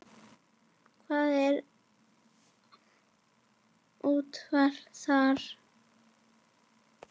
Hvað, er úrvalið þar?